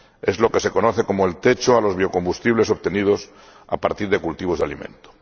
Es lo que se conoce como el techo de los biocombustibles obtenidos a partir de cultivos de alimentos.